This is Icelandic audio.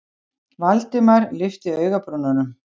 Valdimar lyfti augabrúnunum.